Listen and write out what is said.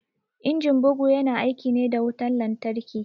Injin bugu ya na aiki ne da wutan lantarki